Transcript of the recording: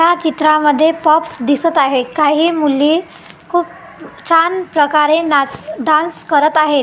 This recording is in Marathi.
या चित्रामध्ये पॉप्स दिसत आहे काही मुली खूप छान प्रकारे नाच डान्स करत आहेत.